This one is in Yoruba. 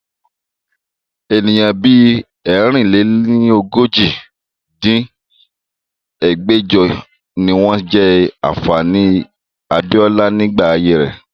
Ènìyàn bí ẹ̀rin-lé-ní-ojì dín ní ẹgbẹ́jọ ni wọn jẹ́ ànfàní abiola nígbà ayé rẹ̀